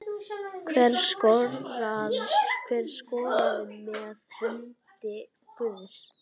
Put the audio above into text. Hver skoraði með hendi guðs?